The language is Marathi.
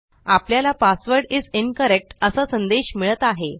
आपल्याला पासवर्ड इस इन्करेक्ट असा संदेश मिळत आहे